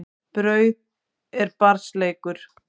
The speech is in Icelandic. Brauð er barns leikur.